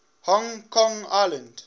hong kong island